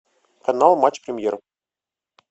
канал матч премьер